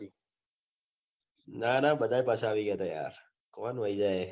ના ના બધા પાછા આવી ગયા તા યાર કોણ વહી જાયે